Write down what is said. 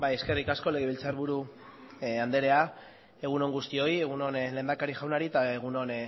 eskerrik asko legebiltzarburu anderea egun on guztioi egun on lehendakari jaunari eta egun on